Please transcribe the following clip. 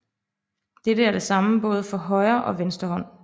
Dette er det samme både for højre og venstre hånd